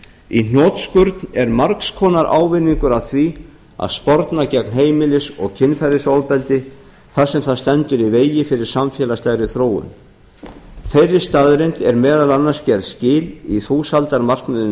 í hnotskurn er margs konar ávinningur af því að sporna gegn heimilis kynferðisofbeldi þar sem það stendur í vegi fyrir samfélagslegri þróun þeirri staðreynd er meðal annars gerð skil í þúsaldarmarkmiðum